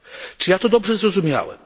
czy ja to dobrze zrozumiałem?